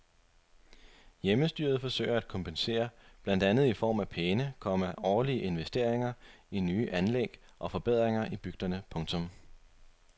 Hjemmestyret forsøger at kompensere blandt andet i form af pæne, komma årlige investeringer i nye anlæg og forbedringer i bygderne. punktum